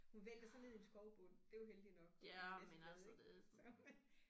Hun væltede så ned i en skovbund det var heldigt nok der var en masse blade ik så men